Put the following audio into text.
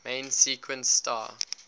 main sequence star